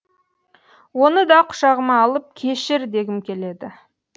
оны да құшағыма алып кешір дегім келеді